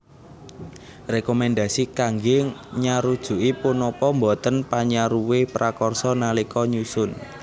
Rekomendasi kangge nyarujuki punapa boten panyaruwe prakarsa nalika nyusun